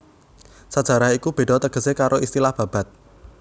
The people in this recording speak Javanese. Sajarah iku béda tegesé karo istilah babad